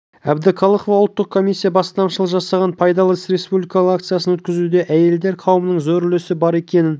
әбдіқалықова ұлттық комиссия бастамашылық жасаған пайдалы іс республикалық акциясын өткізуде әйелдер қауымының зор үлесі бар екенін